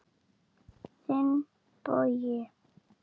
Þinn, Bogi.